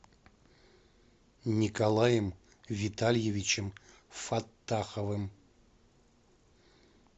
николаем витальевичем фаттаховым